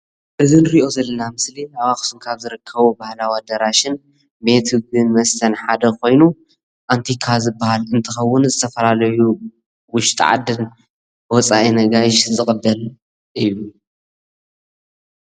እዚ ንሪኦ ዘለና ምስሊ አብ አክሱም ካብ ዝርከቡ ባህላዊ አዳራሽን ቤት ምግብን መስተን ሓደ ኮይኑ አንቲካ ዝበሃል እንትከውን ዝተፈላለዩ ውሽጢ ዓድን ወፃእን አጋይሽ ዝቅበል እዩ።